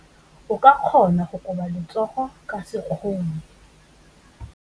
O ka kgona go koba letsogo ka sekgono.